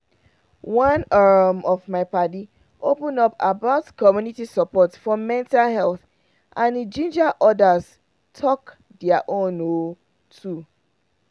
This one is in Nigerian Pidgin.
one um of my padi open up about community support for mental health and e ginger others join talk their own um too